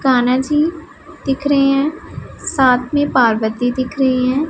कान्हा जी दिख रहे हैं साथ में पार्वती दिख रही हैं।